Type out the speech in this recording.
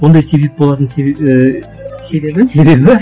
ондай себеп болатын і себебі себебі